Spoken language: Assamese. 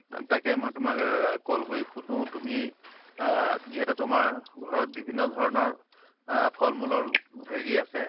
ত তাকে মৈ তোমাক আহ call কৰি সুধো তুমি আহ যিহেতু তোমাৰ ঘৰত বিভিন্ন ধৰণৰ আহ ফল মূলৰ হেৰি আছে।